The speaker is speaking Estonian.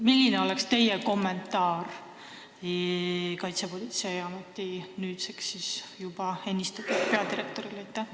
Milline on teie kommentaar Kaitsepolitseiameti nüüdseks juba ametisse ennistatud peadirektori sõnadele?